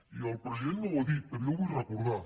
i el president no ho ha dit però jo ho vull recordar